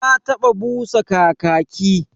Na taba busa kakaki.